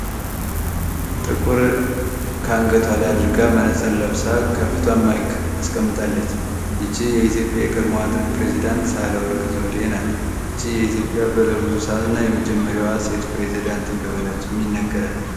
ጥቁር ካንገቷለ አድርጋ መነጸር ለብሳ ካፊቷን ማይክ አስቀምጣለች ይቺህ የኢዮጵያ ቅርሞዋጥ ፕሬዝዳንት ሳለወርቅ ዘዴ ናት ይቺህ የኢትዮጵያ በለብዙ ሰዓት እና የመጀመሪያዋ ሴት ፕሬደንት እንደሆነችም ይነገራል፡፡